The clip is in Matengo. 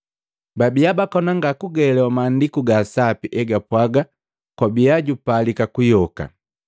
Babia bakoni ngakuelewa Maandiku ga Sapi egapwaga kwabi, jupalika juyoka.